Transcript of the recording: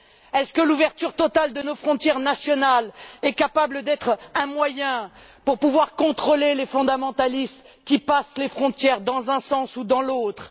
Est ce que l'ouverture totale de nos frontières nationales peut être un moyen pour contrôler les fondamentalistes qui passent les frontières dans un sens ou dans l'autre?